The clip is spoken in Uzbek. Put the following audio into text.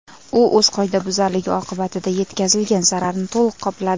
U o‘z qoidabuzarligi oqibatida yetkazilgan zararni to‘liq qopladi.